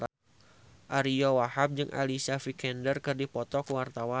Ariyo Wahab jeung Alicia Vikander keur dipoto ku wartawan